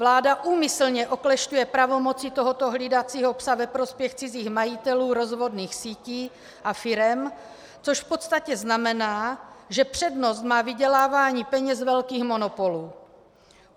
Vláda úmyslně oklešťuje pravomoci tohoto hlídacího psa ve prospěch cizích majitelů rozvodných sítí a firem, což v podstatě znamená, že přednost má vydělávání peněz velkých monopolů.